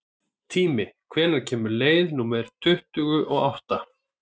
Tími, hvenær kemur leið númer tuttugu og átta?